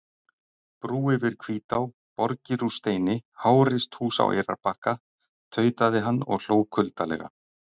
Brú yfir Hvítá, borgir úr steini, háreist hús á Eyrarbakka, tautaði hann og hló kuldalega.